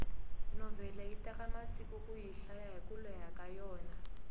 novhele yi teka masiku kuyi hlaya hiku leha ka yona